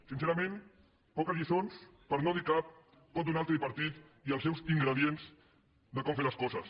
sincerament poques lliçons per no dir cap poden donar el tripartit i els seus ingredients de com fer les coses